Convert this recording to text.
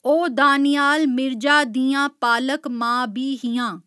ओह् दानियाल मिर्जा दियां पालक मां बी हियां।